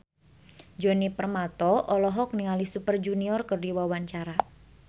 Djoni Permato olohok ningali Super Junior keur diwawancara